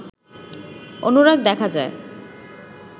অনুরাগ দেখা যায়